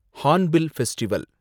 hornbill festival